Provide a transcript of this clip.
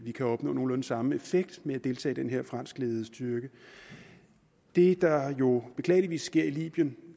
kan opnå nogenlunde samme effekt ved at deltage i den her franskledede styrke det der jo beklageligvis sker i libyen